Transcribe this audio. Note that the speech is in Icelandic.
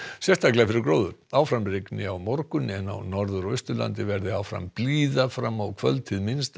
sérstaklega fyrir gróður áfram rignir á morgun en á Norður og Austurlandi verður áfram blíða fram á kvöld hið minnsta